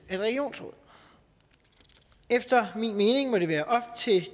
af et regionsråd efter min mening må det være op til